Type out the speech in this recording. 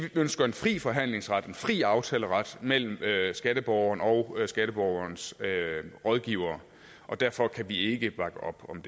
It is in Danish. ønsker en fri forhandlingsret en fri aftaleret mellem skatteborgeren og skatteborgerens rådgivere og derfor kan vi ikke bakke op om